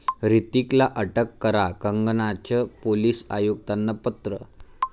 ह्रतिकला अटक करा, कंगनाचं पोलीस आयुक्तांना पत्र